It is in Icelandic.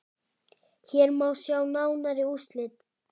Hér má sjá nánari úrslit.